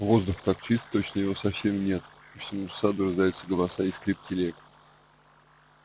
воздух так чист точно его совсем нет по всему саду раздаются голоса и скрип телег